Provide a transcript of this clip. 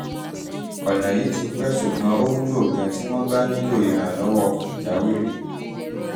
ọ̀nà yìí ti pẹ́ ṣùgbọ́n ó wúlò gan-an tí wọ́n bá nílò ìrànlọ́wọ́ pàjáwìrì